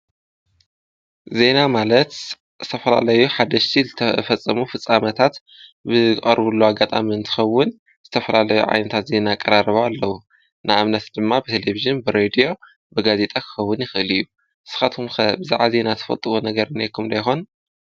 ዘይና ማለት ተፈራለዩ ሓደሽቲ ዝተፈጸሙ ፍፃመታት ብቐርቡሉ ኣጋጣምን ትኸውን ዝተፈራለዩ ዓይንታት ዘና ቀራረበ ኣለዉ ንእምነስ ድማ ብተሌብዜም ብሬድዮ ብጋዜይጠኽኸቡን ይኽእል እዩ ስኻቶኩምከብዝዓ ዘይና ተፈጥዎ ነገርን ይኹምዶ ይሆን።